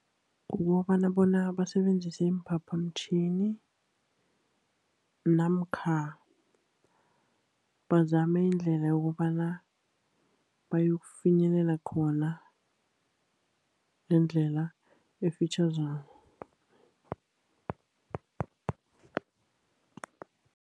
Kukobana bona basebenzise iimphaphamtjhini, namkha bazame indlela yokobana bayokufinyelela khona ngendlela efitjhazana.